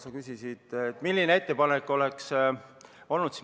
Sa küsisid, milline ettepanek oleks see olnud.